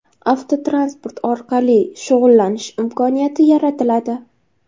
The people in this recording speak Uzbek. avtotransport orqali shug‘ullanish imkoniyati yaratiladi.